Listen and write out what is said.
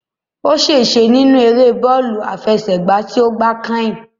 Ó ṣèse nínú eré bọ́ọ̀lù àfẹsẹ̀gbá tí ó gbá kányìn